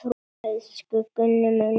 Elsku Gunni minn.